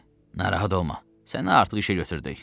Narahat olma, səni artıq işə götürdük.